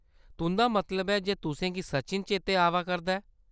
तुंʼदा मतलब ऐ जे तुसेंगी सचिन चेतै आवै करदा ऐ।